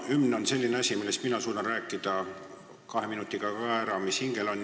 Hümn on selline asi, mille kohta mina suudan ka kahe minutiga ära rääkida kõik, mis hingel on.